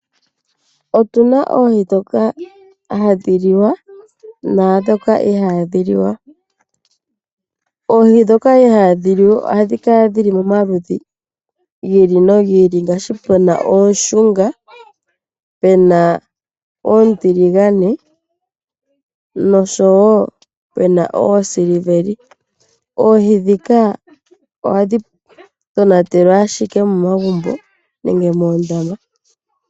Opuna oohi ndhoka hadhi liwa naandhoka ihadhi liwa. Oohi ndhoka ihadhi liwa ohadhi kala dhi li momaludhi gi ili nogi ili ngaashi puna ooshunga, pu na oontiligane, osho wo pu na oosiliveli. Oohi ndhika ohadhi tonatelwa ashike momagumbo nenge moondama.